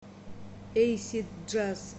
эйсид джаз